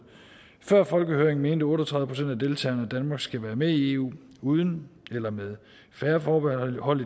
før folkehøringen mente otte og tredive procent af deltagerne at danmark skal være med i eu uden eller med færre forbehold